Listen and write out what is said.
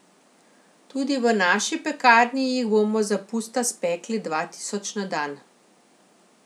Tudi v naši pekarni jih bomo za pusta spekli dva tisoč na dan.